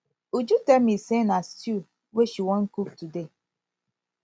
uju tell me say na stew wey she wan cook today